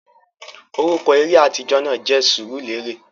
Orúkọ eré atijọ náà jẹ Sùùrulérè